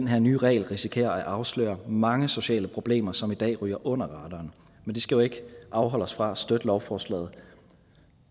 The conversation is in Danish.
her nye regler risikerer at afsløre mange sociale problemer som i dag ryger under radaren men det skal jo ikke afholde os fra at støtte lovforslaget